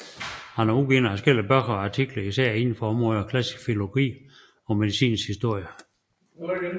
Han har udgivet adskillige bøger og artikler især inden for områderne klassisk filologi og medicinens historie